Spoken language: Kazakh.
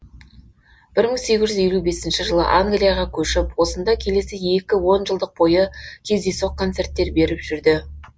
бір мың сегіз жүз елу бесінші жылы англияға көшіп осында келесі екі онжылдық бойы кездейсоқ концерттер беріп жүрді